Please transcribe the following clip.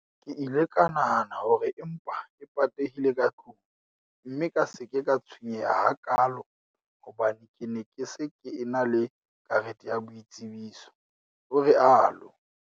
"Ke ile ka nahana hore e mpa e patehile ka tlung, mme ka se ke ka tshwenyeha hakaalo hobane ke ne ke se ke ena le karete ya boitsebiso" o rialo.